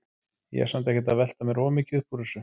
Ég er samt ekkert að velta mér of mikið upp úr þessu.